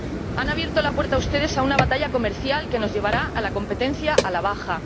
Han abierto la puerta ustedes a una batalla comercial que nos llevará a la competencia a la baja.